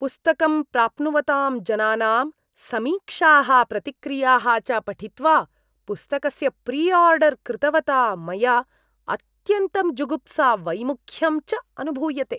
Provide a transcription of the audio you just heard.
पुस्तकं प्राप्नुवतां जनानां समीक्षाः प्रतिक्रियाः च पठित्वा पुस्तकस्य प्रिआर्डर् कृतवता मया अत्यन्तं जुगुप्सा वैमुख्यं च अनुभूयते।